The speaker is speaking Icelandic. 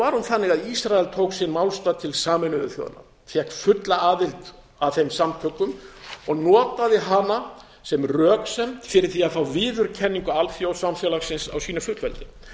var hún þannig að ísrael tók sinn málstað til sameinuðu þjóðanna fékk fulla aðild að þeim samtökum og notaði hana sem röksemd fyrir því að fá viðurkenningu alþjóðasamfélagsins á sínu fullveldi